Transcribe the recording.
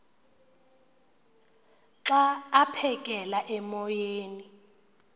xa aphekela emoyeni